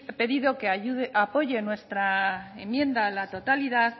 pedido que apoye nuestra enmienda a la totalidad